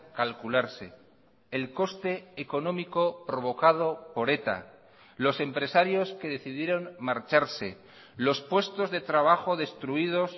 calcularse el coste económico provocado por eta los empresarios que decidieron marcharse los puestos de trabajo destruidos